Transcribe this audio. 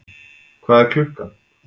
Hvað er klukkan?